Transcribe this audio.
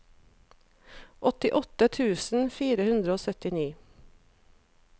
åttiåtte tusen fire hundre og syttini